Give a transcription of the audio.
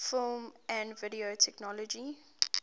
film and video technology